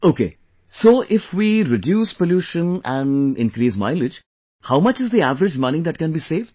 Ok, so if we reduce pollution and increase mileage, how much is the average money that can be saved